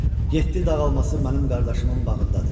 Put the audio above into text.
Yeddi dağ alması mənim qardaşımın bağındadır.